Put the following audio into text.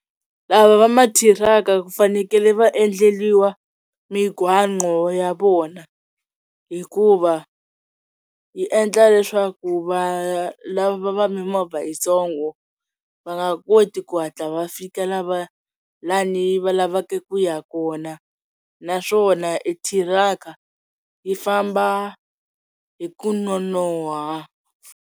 Lava va ma thiraka ku fanekele va endleliwa migwaqo ya vona hikuva yi endla leswaku va lava mimovha yitsongo va nga koti ku hatla va fika la va lani va lavaka ku ya kona naswona i thiraka yi famba hi ku nonoha.